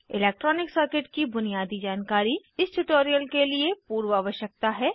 electronic circuit की बुनियादी जानकारी इस ट्यूटोरियल के लिए पूर्व आवश्यकता है